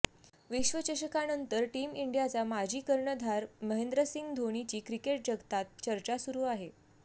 विश्वचषकानंतर team इंडियाचा माजी कर्णधार महेंद्रसिंह धोनीची क्रिकेट जगतात चर्चा सुरु आहे